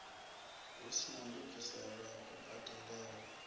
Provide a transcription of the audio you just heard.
hu sina ndungiselo ya kubadelele